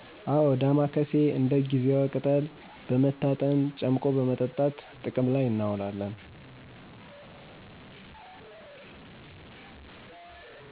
አወ ዳማካሴ እንደ ጊዜዋ ቅጠል በመታጠን ጨምቆ በመጠጣት ጥቅም ላይ እናዉላለን